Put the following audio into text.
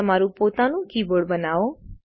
તમારૂ પોતાનું keyboard બનાવો